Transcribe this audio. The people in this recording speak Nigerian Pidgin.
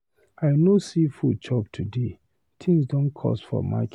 I no see food chop today. Things cost for market.